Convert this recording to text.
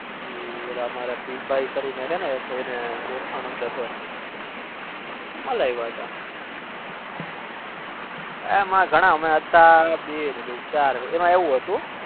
એ ઓલા અમારા પ ભાઈ ના હ તેમની ઓળખાણ અંદર હ અપને ગણા હતા એમ એવું હતું